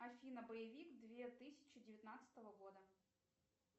афина боевик две тысячи девятнадцатого года